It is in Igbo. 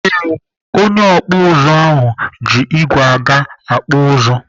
Ee, onye ọkpụ ụzụ ahụ ji igwe aga akpụ ụzụ.